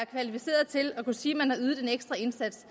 kvalificeret til at kunne sige at man har ydet en ekstra indsats